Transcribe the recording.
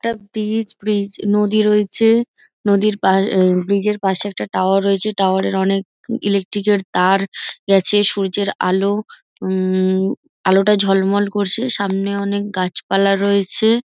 একটা bridge bridge নদী রয়েছে। নদীর পা ব্রিজ -এর পাশে একটা টাওয়ার রয়েছে টাওয়ার -এর অনেক ইলেকট্রিক -এর তার গেছে সূর্যের আলো উম আলোটা ঝলমল করছে। সামনে অনেক গাছপালা রয়েছে।